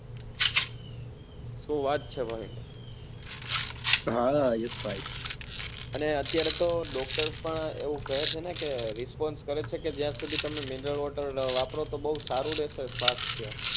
શું વાત છે ભાવિન ભાઈ અને અત્યારે તો doctor પણ એવું કહે છે ને response કરે છે કે જ્યાર સુધી તમે mineral water વાપરો તો બઉ સારું રેસે સ્વાસ્થ્ય